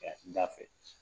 N ɲa fɛ.